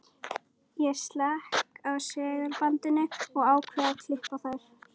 Ég slekk á segulbandinu og ákveð að klippa þær.